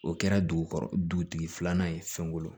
O kɛra dugutigi filanan ye fɛnw